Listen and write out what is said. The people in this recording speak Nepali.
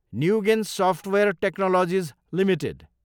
Nugen software technologies Ltd